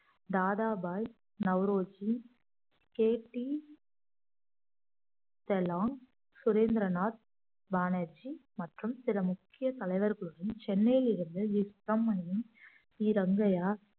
Dadabhai Naoroji K P செல்லாங் சுரேந்திரநாத் பானர்ஜி மற்றும் சில முக்கிய தலைவர்களுடன் சென்னையிலிருந்து வி சுப்பிரமணியும் சி ரங்கய்யா